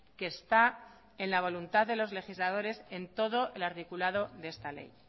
que está en la voluntad de los legisladores en todo el articulado de esta ley